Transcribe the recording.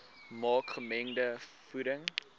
maak gemengde voeding